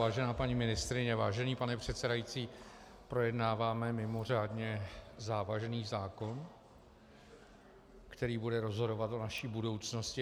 Vážená paní ministryně, vážený pane předsedající, projednáváme mimořádně závažný zákon, který bude rozhodovat o naší budoucnosti.